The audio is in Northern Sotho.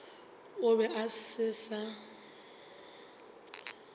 e be e se sa